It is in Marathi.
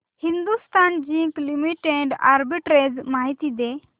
हिंदुस्थान झिंक लिमिटेड आर्बिट्रेज माहिती दे